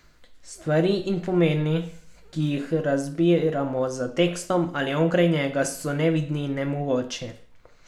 Stvari in pomeni, ki jih razbiramo za tekstom ali onkraj njega, so nevidni in nemogoči.